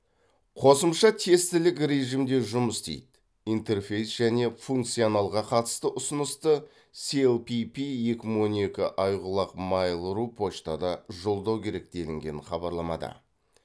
қосымша тестілік режімде жұмыс істейді интерфейс және функционалға қатысты ұсынысты силпипи екі мың он екі ай құлақ майл ру поштада жолдау керек делінген хабарламада